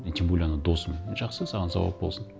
и тем более анау досым жақсы саған сауап болсын